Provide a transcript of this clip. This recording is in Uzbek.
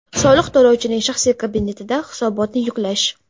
Soliq to‘lovchining shaxsiy kabinetida hisobotni yuklash.